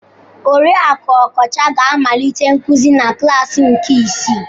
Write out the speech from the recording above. Oriakụ Okocha ga-amalite nkuzi na klaasi nke ise.